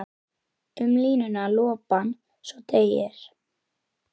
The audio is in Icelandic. Um línuna lopann svo teygir.